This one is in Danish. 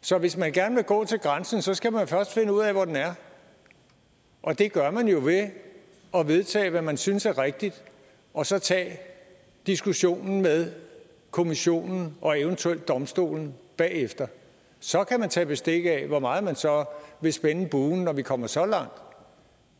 så hvis man gerne vil gå til grænsen skal man først finde ud af hvor den er og det gør man jo ved at vedtage hvad man synes er rigtigt og så tage diskussionen med kommissionen og eventuelt eu domstolen bagefter så kan man tage bestik af hvor meget man så vil spænde buen når vi kommer så langt